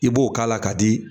I b'o k'a la ka di